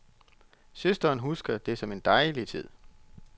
Søsteren husker det som en dejlig tid.